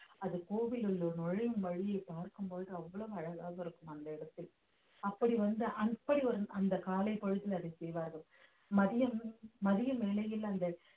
அது கோவிலுக்குள் நுழையும் வழியை பார்க்கும் போது அவ்வளவு அழகாக இருக்கும் அந்த இடத்தில் அப்படி வந்து அப்படி ஒரு அந்த காலைப் பொழுது அதை செய்வார்கள் மதியம் மதியம் வேளையில் அந்த